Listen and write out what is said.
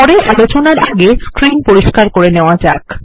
পরের আলোচনা আগে স্ক্রীন পরিস্কার করে নেওয়া যাক